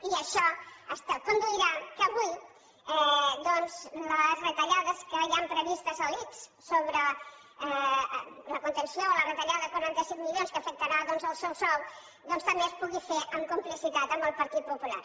i això conduirà que avui doncs les retallades que hi han previstes a l’ics sobre la contenció o la retallada de quaranta cinc milions que afectarà doncs el seu sou doncs també es pugui fer amb complicitat amb el partit popular